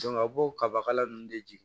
a b'o kaba kala nunnu de jigin